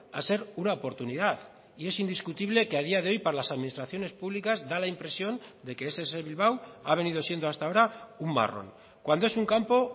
a ser una oportunidad y es indiscutible que a día de hoy para las administraciones públicas da la impresión de que ess bilbao ha venido siendo hasta ahora un marrón cuando es un campo